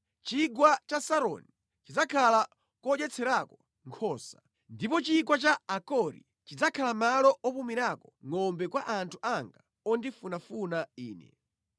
Chigwa cha Saroni chidzakhala kodyetserako nkhosa, ndipo chigwa cha Akori chidzakhala malo opumirako ngʼombe kwa anthu anga ondifunafuna Ine.